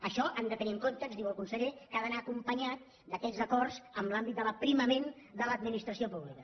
això han de tenir en compte ens ho diu el conseller que ha d’anar acompanyat d’aquells acords en l’àmbit de l’aprimament de l’administració pública